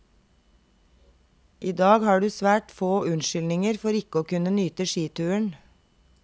I dag har du svært får unnskyldninger for ikke å kunne nyte skituren.